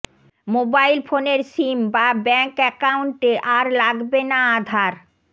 mobile ফোনের SIM বা bank অ্যাকাউন্টে আর লাগবে না আধার